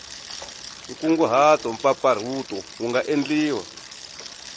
nkunguhato mpfapfarhuto wu nga endliwa